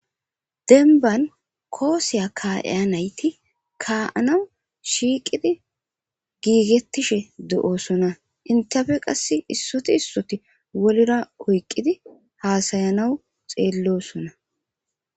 Demban kuwassa ka"iza nayti kuwase ka'anaw shiqidi gigetishshe de"ossona hentappe qase isoti isoti wolela oyqidi hasa'anas xelosona